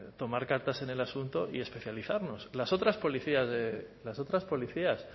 tomar cartas en el asunto y especializarnos las otras policías